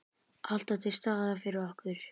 Alltaf til staðar fyrir okkur.